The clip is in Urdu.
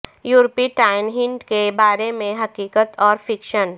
یورپی ڈائن ہنٹ کے بارے میں حقیقت اور فکشن